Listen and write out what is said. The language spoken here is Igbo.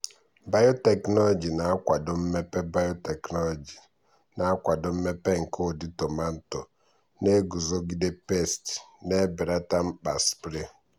biotechnology na-akwado mmepe biotechnology na-akwado mmepe nke ụdị tomato na-eguzogide pesti na-ebelata mkpa sprays.